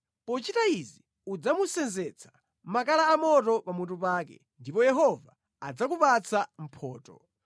Pochita izi, udzamusenzetsa makala a moto pa mutu pake, ndipo Yehova adzakupatsa mphotho.